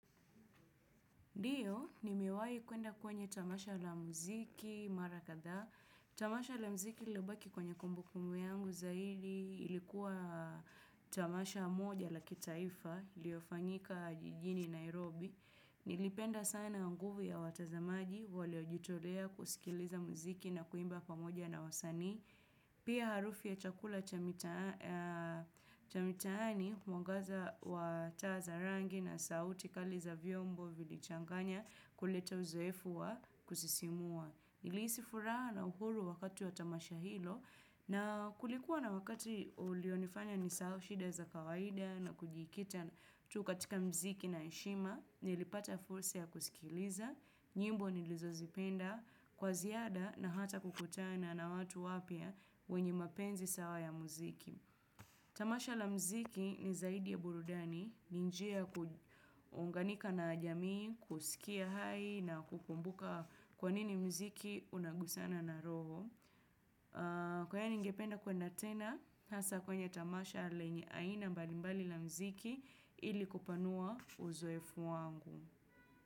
Ndiyo, nimewai kuenda kwenye tamasha la muziki, mara kadhaa. Tamasha la muziki lililobaki kwenye kumbu kumbu yangu zaidi, ilikuwa tamasha moja la kitaifa, iliyofanyika jijini Nairobi. Nilipenda sana nguvu ya watazamaji, waliojitolea kusikiliza muziki na kuimba pamoja na wasani. Pia harufu ya chakula cha mitaani mwangaza wa taa za rangi na sauti kali za vyombo vilichanganya kuleta uzoefu wa kusisimua. Nilihisi furaha na uhuru wakati wa tamasha hilo na kulikuwa na wakati ulionifanya nisahau shida za kawaida na kujikita tu katika mziki na heshima. Nilipata fursa ya kusikiliza, nyimbo nilizozipenda kwa ziada na hata kukutana na watu wapya wenye mapenzi sawa ya muziki. Tamasha la muziki ni zaidi ya burudani, ni njia ya kuunganika na jamii, kusikia hai na kukumbuka kwa nini muziki unagusana na roho. Kwa haya ningependa kuenda tena, hasa kwenye tamasha lenye aina mbalimbali la muziki ili kupanua uzoefu wangu.